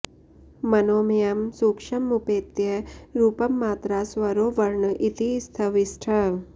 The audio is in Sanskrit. मनोमयं सूक्ष्ममुपेत्य रूपं मात्रा स्वरो वर्ण इति स्थविष्ठः